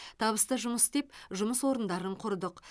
табысты жұмыс істеп жұмыс орындарын құрдық